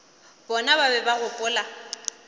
bona ba be ba gopola